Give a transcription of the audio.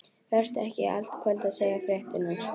Vertu ekki í allt kvöld að segja fréttirnar.